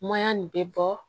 nin bɛ bɔ